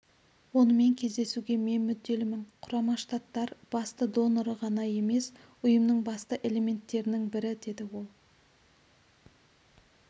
онымен кездесуге мен мүдделімін құрама штаттар басты доноры ғана емес ұйымның басты элементтерінің бірі деді ол